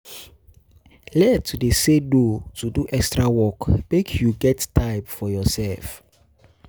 Learn to dey say no to to extra work, make you get time for yoursef.